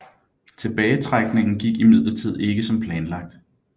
Tilbagetrækningen gik imidlertid ikke som planlagt